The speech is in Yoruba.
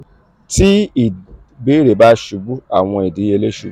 ti ibeere ba ṣubu awọn idiyele ṣubu.